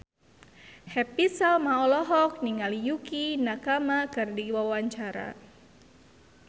Happy Salma olohok ningali Yukie Nakama keur diwawancara